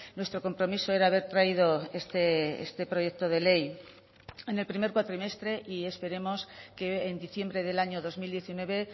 nuestro compromiso era haber traído este proyecto de ley en el primer cuatrimestre y esperemos que en diciembre del año dos mil diecinueve